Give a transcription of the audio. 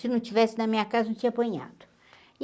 Se não tivesse na minha casa, não tinha apanhado.